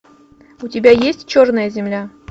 у тебя есть черная земля